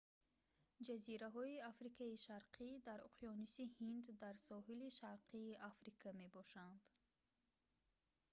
ҷазираҳои африкаи шарқӣ дар уқёнуси ҳинд дар соҳили шарқии африка мебошанд